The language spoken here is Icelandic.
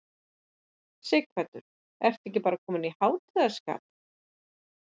Sighvatur, ertu ekki bara kominn í hátíðarskap?